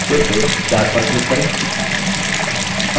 फिर से chart पर click करें